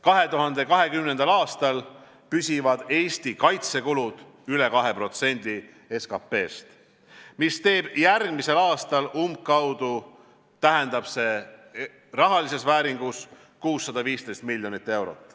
2020. aastal püsivad Eesti kaitsekulud üle 2% SKP-st, järgmisel aastal tähendab see rahalises vääringus umbkaudu 615 miljonit eurot.